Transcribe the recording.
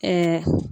Ɛɛ